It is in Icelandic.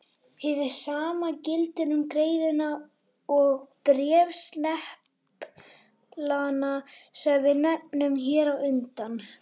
Hið sama gildir um greiðuna og bréfsneplana sem við nefndum hér á undan.